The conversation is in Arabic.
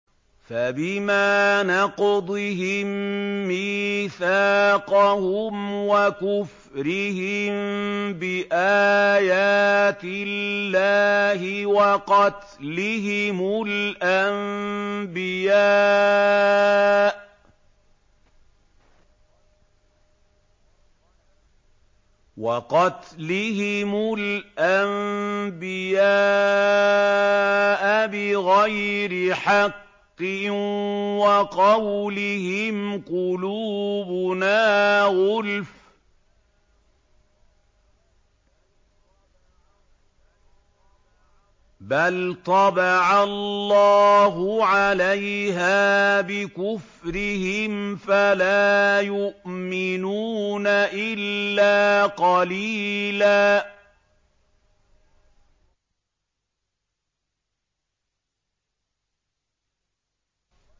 فَبِمَا نَقْضِهِم مِّيثَاقَهُمْ وَكُفْرِهِم بِآيَاتِ اللَّهِ وَقَتْلِهِمُ الْأَنبِيَاءَ بِغَيْرِ حَقٍّ وَقَوْلِهِمْ قُلُوبُنَا غُلْفٌ ۚ بَلْ طَبَعَ اللَّهُ عَلَيْهَا بِكُفْرِهِمْ فَلَا يُؤْمِنُونَ إِلَّا قَلِيلًا